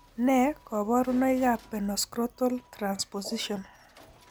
Nee kabarunoikab Penoscrotal transposition?